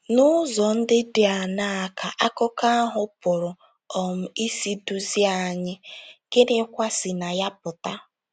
N'ụzọ ndị dị aṅaa ka akụkọ ahụ pụrụ um isi duzie anyị, gịnịkwa si na ya pụta?